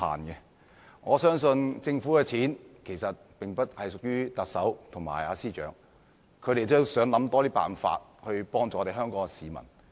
公帑並不屬於特首和司長個人擁有，他們也希望想出更多辦法幫助香港市民。